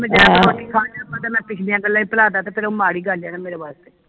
ਮੈਂ ਪਿਛਲੀਆਂ ਗੱਲਾਂ ਈ ਭੁਲਾ ਦਾ ਤਾ ਫਿਰ ਉਹ ਮਾੜੀ ਗੱਲ ਆ ਮੇਰੇ ਵਾਸਤੇ